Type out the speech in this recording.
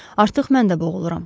Artıq mən də boğuluram.